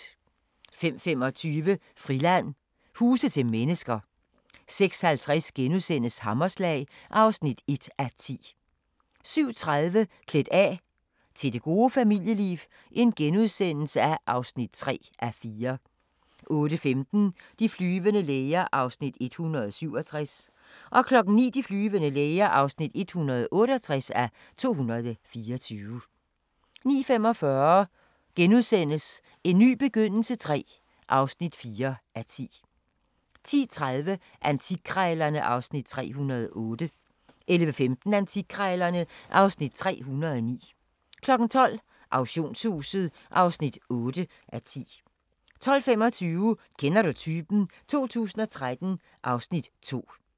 05:25: DR-Friland: Huse til mennesker 06:50: Hammerslag (1:10)* 07:30: Klædt af – til det gode familieliv (3:4)* 08:15: De flyvende læger (167:224) 09:00: De flyvende læger (168:224) 09:45: En ny begyndelse III (4:10)* 10:30: Antikkrejlerne (Afs. 308) 11:15: Antikkrejlerne (Afs. 309) 12:00: Auktionshuset (8:10) 12:25: Kender du typen? 2013 (Afs. 2)